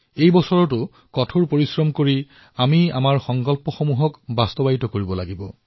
এই বছৰো আমি অধিক পৰিশ্ৰম কৰি নিজৰ সংকল্পসমূহ সিদ্ধ কৰিব লাগিব